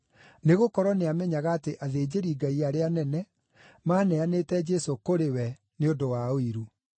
Nĩgũkorwo nĩamenyaga atĩ athĩnjĩri-Ngai arĩa anene maaneanĩte Jesũ kũrĩ we nĩ ũndũ wa ũiru.